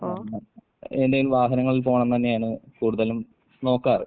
എന്തേലും വാഹനങ്ങളിൽ പോകണംന്ന് തന്നെയാണ് കൂടുതലും നോക്കാറ്.